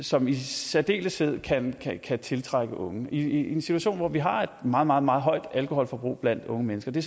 som i særdeleshed kan kan tiltrække unge i en situation hvor vi har et meget meget meget højt alkoholforbrug blandt unge mennesker det